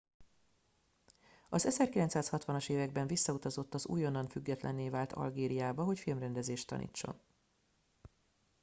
az 1960 as években visszautazott az újonnan függetlenné vált algériába hogy filmrendezést tanítson